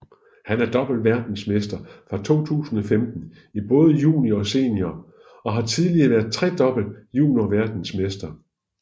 Han er dobbelt verdensmester fra 2015 i både junior og senior og har tidligere været tredobbelt juniorverdensmester